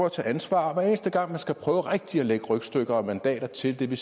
at tage ansvar hver eneste gang man skal prøve rigtigt at lægge rygstykker og mandater til det